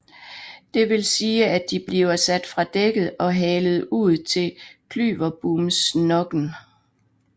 Det vil sige at de bliver sat fra dækket og halet ud til klyverbomsnokken